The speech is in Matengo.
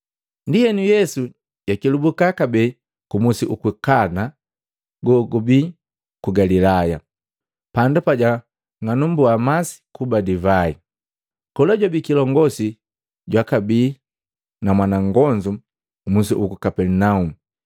Ndienu Yesu jakelubuka kabee ku musi uku Kana gogubii ku Galilaya, pandu pajang'alumbua masi kuba divai. Kola jwabii kilongosi jwakabii na mwana nngonzu musi uku Kapelinaumu.